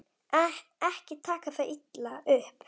Ekki taka það illa upp.